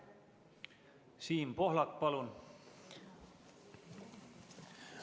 Siim Pohlak, palun!